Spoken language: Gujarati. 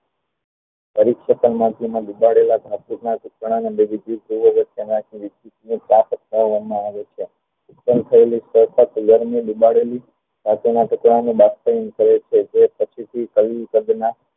પરીક્ષક ના દુબદેલા ધાતુઓ ન માં આવે છે કરે છે જે પછી થી નાં